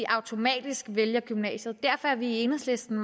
automatisk vælger gymnasiet derfor er vi i enhedslisten